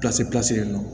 pilasi in na